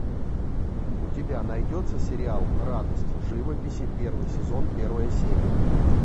у тебя найдется сериал радость живописи первый сезон первая серия